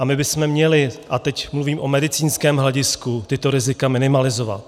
A my bychom měli, a teď mluvím o medicínském hledisku, tato rizika minimalizovat.